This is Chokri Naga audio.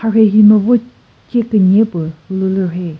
marhe hino vo che künye pü ulülü rhei.